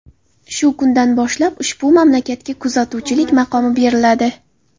Shu kundan boshlab ushbu mamlakatga kuzatuvchilik maqomi beriladi.